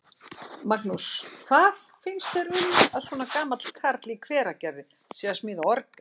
Magnús: Hvað finnst þér um að svona gamall karl í Hveragerði sé að smíða orgel?